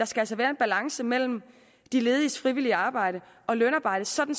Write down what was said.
skal være en balance mellem de lediges frivillige arbejde og lønarbejde sådan